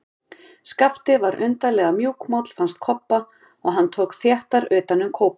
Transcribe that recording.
Skapti var undarlega mjúkmáll, fannst Kobba, og hann tók þéttar utan um kópinn.